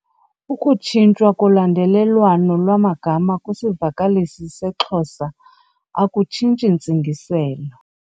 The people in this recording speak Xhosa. Ukutshintshwa kolandelelwano lwamagama kwisivakalisi seXhosa akutshintshi ntsingiselo.